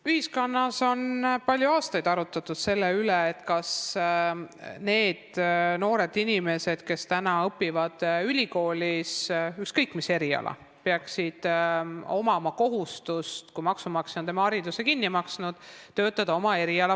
Ühiskonnas on palju aastaid arutletud selle üle, kas nendel noortel inimestel, kes õpivad ülikoolis ükskõik mis erialal, peaks olema kohustus, kui maksumaksja on nende hariduse kinni maksnud, töötada oma erialal.